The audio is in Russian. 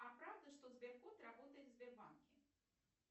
а правда что сбер кот работает в сбербанке